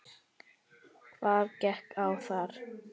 Hvað gekk á þar?